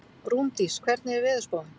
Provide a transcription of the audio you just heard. Rúndís, hvernig er veðurspáin?